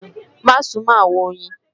Má súnmọ́ àwọn oyin!